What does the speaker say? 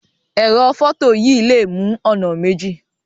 Ẹrọ fọto yìí lè mú ònà méjì.